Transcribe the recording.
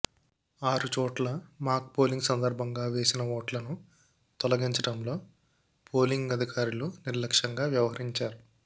ఆరు చోట్ల mock polling సందర్భంగా వేసిన ఓట్లను తొలగించడంలో పోలింగ్ అధికారులు నిర్లక్ష్యంగా వ్యవహరించారు